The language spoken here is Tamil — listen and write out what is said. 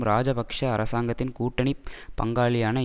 இராஜபக்ஷ அரசாங்கத்தின் கூட்டணி பங்காளியான